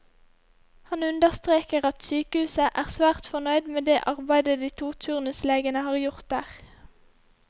Han understreker at sykehuset er svært fornøyd med det arbeidet de to turnuslegene har gjort der.